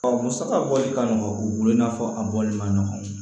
musaka bɔli ka nɔgɔ u bolo i n'a fɔ a bɔli man nɔgɔ